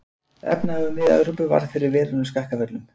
Efnahagur Mið-Evrópu varð fyrir verulegum skakkaföllum.